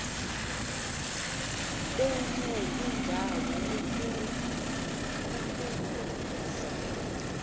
benye indawo kukuze